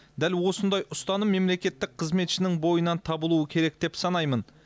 дәл осындай ұстаным мемлекеттік қызметшінің бойынан табылуы керек деп санаймын